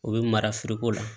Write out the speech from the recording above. O bɛ mara foroko la